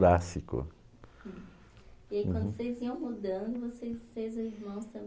E aí quando vocês iam mudando, vocês e os irmãos também